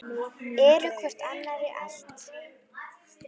Eru hvor annarri allt.